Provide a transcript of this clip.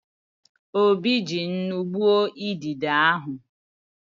Obi ji nnu gbuo idide ahụ.